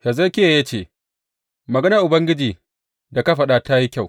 Hezekiya ya ce, Maganar Ubangiji da ka faɗa ta yi kyau.